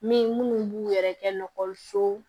Min munnu b'u yɛrɛ kɛkɔliso